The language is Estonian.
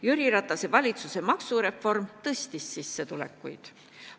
Jüri Ratase valitsuse maksureform suurendas sissetulekuid.